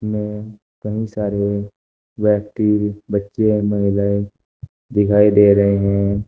में कई सारे व्यक्ति बच्चे महिलाएं दिखाई दे रहे हैं।